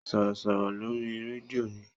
Sọ̀rọ̀sọ̀rọ̀ lórí rédíò ni.